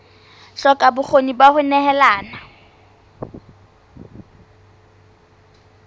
hloka bokgoni ba ho nehelana